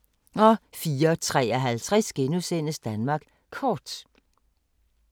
04:53: Danmark Kort *